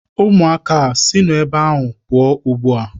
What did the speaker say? Ụmụaka a, sinụ ebe ahụ pụọ ugbu a!